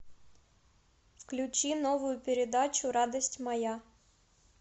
включи новую передачу радость моя